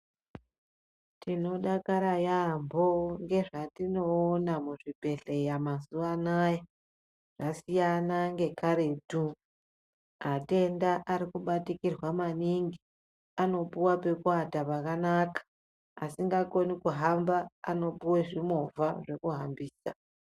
Tinodakara yaambo ngezvatinoona muzvibhedhleya mazuva anaya. Zvasiyana ngekaretu. Matenda ari kubatikirwa maningi, anopuwa pekuata anamai asingakoni kuhamba anopiwe zvimovha zvekuhambisa.